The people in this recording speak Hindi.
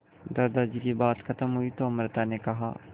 दादाजी की बात खत्म हुई तो अमृता ने कहा